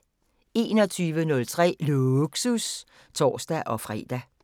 21:03: Lågsus (tor-fre)